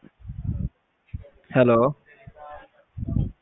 Hello